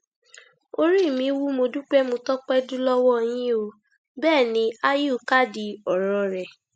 orí mi wú mo dúpẹ mo tọpẹ dù lọwọ yín o bẹẹ ni áyù kádìí ọrọ rẹ